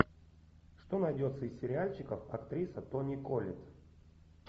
что найдется из сериальчиков актриса тони коллетт